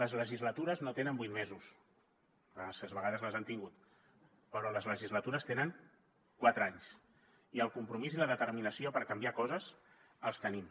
les legislatures no tenen vuit mesos a vegades les han tingut però les legislatures tenen quatre anys i el compromís i la determinació per canviar coses els tenim